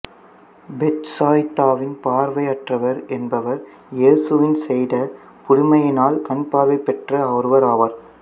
பெத்சாயிதாவின் பார்வையற்றவர் என்பவர் இயேசுவின் செய்த புதுமையினால் கண் பார்வை பெற்ற ஒருவர் ஆவார்